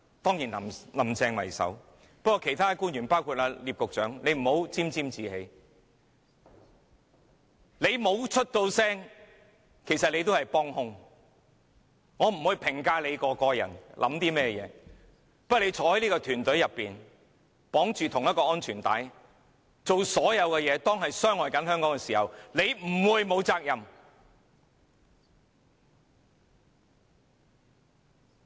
當然，雖然政府以林鄭月娥為首，但其他官員，包括聶局長也不要沾沾自喜，他不作聲，其實也是幫兇，我不會評價他個人在想甚麼，不過他身處這個團隊中，綁着相同的安全帶，做傷害香港的事情時，他不會沒有責任。